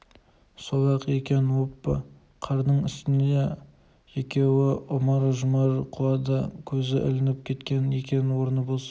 сол-ақ екен оппа қардың үстіне екеуі ұмар-жұмар құлады көзі ілініп кеткен екен орны бос